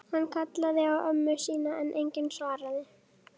Hann kallaði á ömmu sína en enginn svaraði.